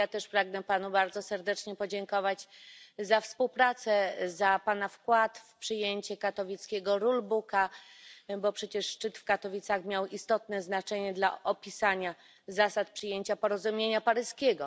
Ja też pragnę Panu bardzo serdecznie podziękować za współpracę, za Pana wkład w przyjęcie katowickiego rulebooka, bo przecież szczyt w Katowicach miał istotne znaczenie dla opisania zasad przyjęcia porozumienia paryskiego.